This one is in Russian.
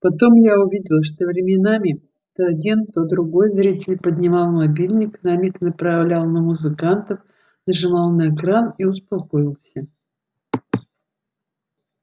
потом я увидел что временами то один то другой зритель поднимал мобильник на миг направлял на музыкантов нажимал на экран и успокоился